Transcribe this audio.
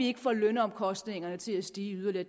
ikke får lønomkostningerne til at stige yderligere